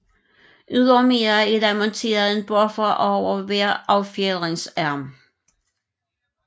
Ydermere er der monteret en buffer over hver affjedringsarm